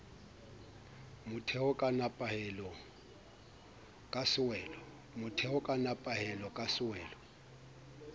motheo ka nepahalo ka sewelo